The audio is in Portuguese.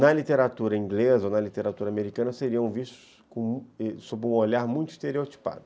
na literatura inglesa ou na literatura americana, seriam vistos sob um olhar muito estereotipado.